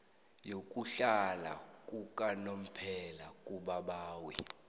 yokuhlala yakanomphela kubabawi